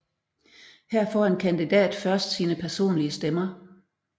Her får en kandidat først sine personlige stemmer